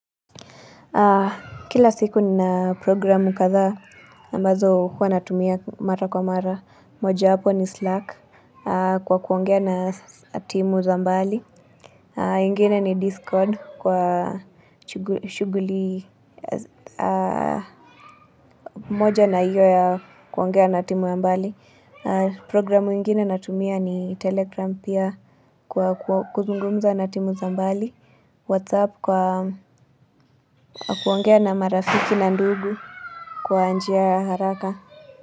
Kila siku nina programu kadhaa ambazo huwa natumia mara kwa mara. Mojawapo ni Slack kwa kuongea na timu za mbali. Ingine ni Discord kwa shughuli moja na iyo ya kuongea na timu ya mbali. Programu ingine natumia ni Telegram pia kwa kuzungumza na timu za mbali. WhatsApp kwa kuongea na marafiki na ndugu. Kwa njia ya haraka.